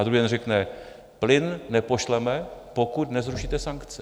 A druhý den řekne: Plyn nepošleme, pokud nezrušíte sankce.